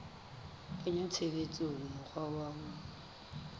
kenya tshebetsong mokgwa wa ho